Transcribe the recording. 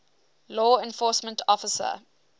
law enforcement officer